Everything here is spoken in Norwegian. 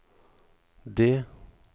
det